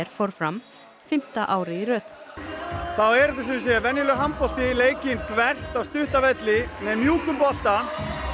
fór fram fimmta árið í röð þá er þetta sumsé venjulegur handbolti leikinn þvert á stutta velli með mjúkum bolta